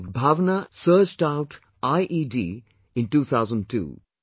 Dog, Bhavana searched out IED in 2002